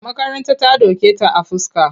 A makaranta ta doke ta a fuska.